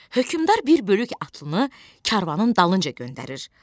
Hökmdar bir bölük atlıını karvanın dalınca göndərir.